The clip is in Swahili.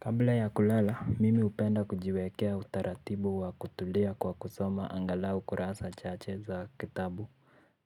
Kabla ya kulala mimi hupenda kujiwekea utaratibu wa kutulia kwa kusoma angalau kurasa chache za kitabu